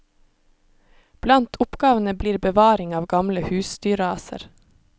Blant oppgavene blir bevaring av gamle husdyrraser.